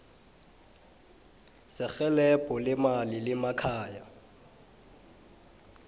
serhelebho leemali lemakhaya